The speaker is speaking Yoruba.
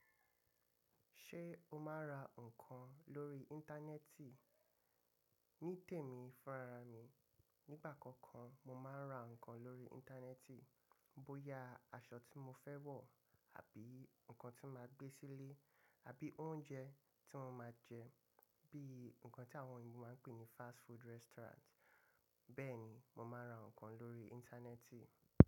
Ṣé o máa ń ra nǹkan lórí Íńtánẹ́ẹ̀tì? Ní tèmi fúnra ra mi, nígbà kankan mo máa ń ra nǹkan lórí Íńtánẹ́ẹ̀tì. Bo ya aṣọ tí mo fẹ́ wọ̀ àbí nǹkan tí màá gbé sílé àbí oúnjẹ tí mo máa jẹ bí i nǹkan tí àwọn òyìnbó máa ń pè ní fast food restaurant. Bẹ́ẹ̀ni mo máa ń ra nǹkan lórí Íńtánẹ́ẹ̀tì.